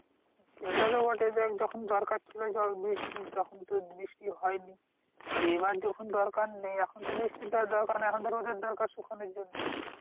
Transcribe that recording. সেটা তো বটে দেখ যখন দরকার ছিল জল বৃষ্টির তখন তোর বৃষ্টি হয়নি, আর এবার যখন দরকার নেই এখন তো বৃষ্টির ধর দরকার নেই, এখন তো রোদের দরকার শুখানোর জন্য